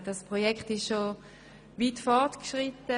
Das Projekt ist weit fortgeschritten.